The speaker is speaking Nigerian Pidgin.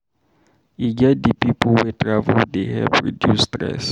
E get di pipo wey travel dey help reduce stress.